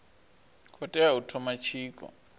khou tea u thoma tshiko